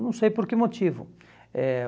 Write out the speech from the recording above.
Não sei por que motivo. Eh